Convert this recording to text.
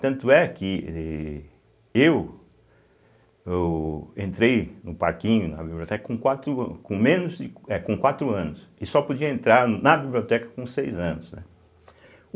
Tanto é que eh eu ôh entrei no Parquinho, na biblioteca, com quatro a com menos de é com quatro anos e só podia entrar na biblioteca com seis anos, né.